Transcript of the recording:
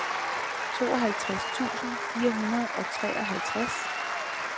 tooghalvtreds tusind fire hundrede og treoghalvtreds